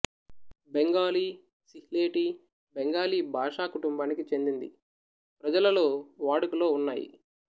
బెంగాలీ సిల్హేటీ బెంగాలీ భాషా కుంటుంబానికి చెందింది ప్రజలలో వాడుకలో ఉన్నాయి